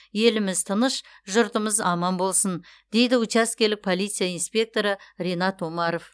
еліміз тыныш жұртымыз аман болсын дейді учаскелік полиция инспекторы ринат омаров